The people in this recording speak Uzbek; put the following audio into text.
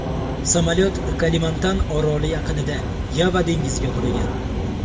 Samolyot Kalimantan oroli yaqinida, Yava dengiziga qulagan.